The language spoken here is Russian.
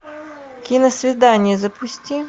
киносвидание запусти